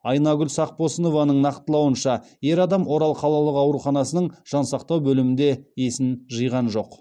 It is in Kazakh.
айнагүл сақпосынованың нақтылауынша ер адам орал қалалық ауруханасының жансақтау бөлімінде есін жиған жоқ